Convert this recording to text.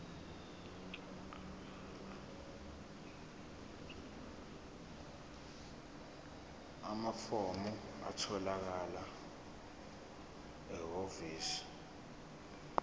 amafomu atholakala ehhovisi